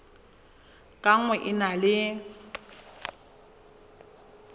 ka nngwe e na le